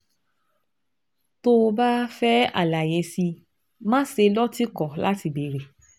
Tó o bá fẹ́ àlàyé sí i, máṣe lọ́tìkọ̀ láti béèrè